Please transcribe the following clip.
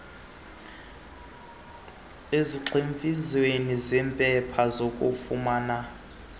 ezigximfiziweyo zeempepha zokufumana